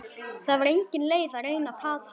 Það var engin leið að reyna að plata hana.